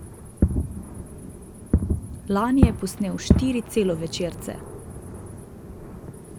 Lani je posnel štiri celovečerce.